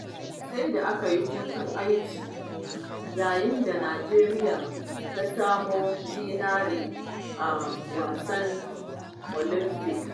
Sai da aka bada hutun aiki, yayin da Nijeriya ta samo zinare a wasan olamfik.